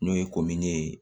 N'o ye ye